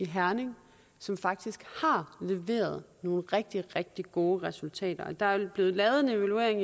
herning som faktisk har leveret nogle rigtig rigtig gode resultater der er blevet lavet en evaluering